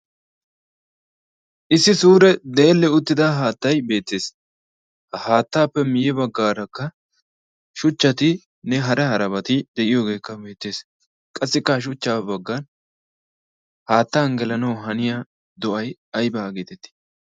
issi suure deelle uttida haattay beettees ha haattaappe miyye baggaarakka shuchchati ne hara harabati de'iyoogeekka beettees qassikka ha shuchcha baggan haatta anggelanaawu haniya do'ay aybaa geetettii